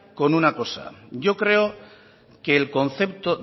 con una cosa yo creo que el concepto